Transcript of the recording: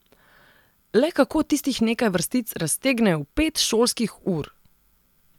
Le kako tistih nekaj vrstic raztegnejo v pet šolskih ur?